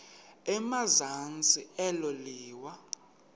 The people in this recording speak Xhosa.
emazantsi elo liwa